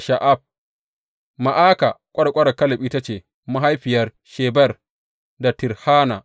Ma’aka ƙwarƙwarar Kaleb ita ce mahaifiyar Sheber da Tirhana.